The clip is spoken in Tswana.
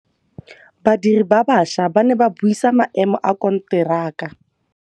Badiri ba baša ba ne ba buisa maêmô a konteraka.